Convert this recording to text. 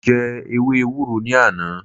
Mo jẹ ewé ewúro ní àná